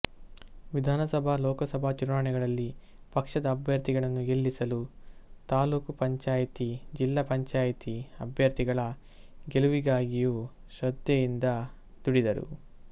ವಿಧಾನಸಭಾಲೋಕಸಭಾ ಚುನಾವಣೆಗಳಲ್ಲಿ ಪಕ್ಷದ ಅಭ್ಯರ್ಥಿಗಳನ್ನು ಗೆಲ್ಲಿಸಲು ತಾಲ್ಲೂಕು ಪಂಚಾಯಿತಿಜಿಲ್ಲಾ ಪಂಚಾಯಿತಿ ಅಭ್ಯರ್ಥಿಗಳ ಗೆಲುವಿಗಾಗಿಯೂ ಶ್ರದ್ದೆಯಿಂದ ದುಡಿದರು